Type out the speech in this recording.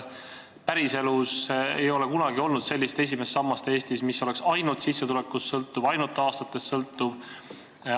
Päriselus ei ole kunagi olnud sellist esimest sammast Eestis, mis oleks ainult sissetulekust või ainult tööaastatest sõltuv.